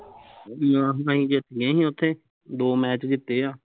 ਨਾਸ ਨਾਲ਼ ਹੀਂ ਜਿੱਤ ਗਏ ਅਸੀਂ ਓਥੇ ਦੋ match ਜਿੱਤੇ ਆ